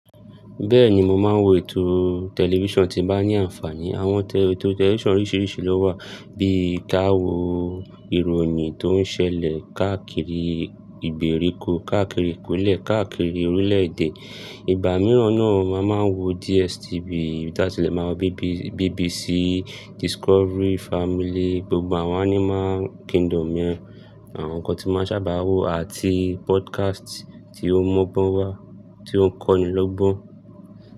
Bẹ́ẹ̀ni, mo máa ń wo ètò tẹlifíṣàn tí ń bá ní àǹfààní. Àwọn ètò tẹlifíṣàn oríṣiríṣi ló wà bíi kí a wo ìròyìn tó ń ṣẹlẹ̀ káàkiri ìgbèríko, káàkiri ìpínlẹ̀, káàkiri orílẹ̀-èdè. Ìgbà mìíràn náà o, a máa ń wo DSTV, bí àti lè máa wo BBC, Discovery, Family, gbogbo àwọn Animal Kingdom yẹn Àwọn nǹkan tí n ma ń sábà wo àti podcast tí ó ń m’ọ́gbọ́n wa, tí ó ń kọ́ni lọ́gbọ́n.